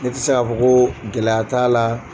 Ne tɛ se k'a fɔ ko gɛlɛya t'a la.